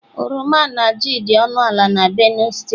Oroma na ji dị ọnụ ala na Benue steeti.